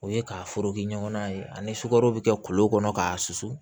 O ye ka foroki ɲɔgɔnna ye ani sukaro bɛ kɛ kolo kɔnɔ k'a susu